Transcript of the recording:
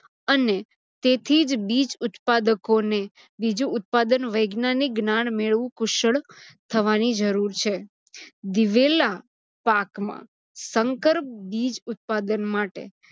અને તેથીજ બીજ ઉત્પાદકોને બીજુ ઉત્પાદન વૈજ્ઞાનીક જ્ઞાન મેળવી કુશળ થવાની જરુર છે. દિવેલા પાકમાં સંકર બીજ ઉત્પાદન માટે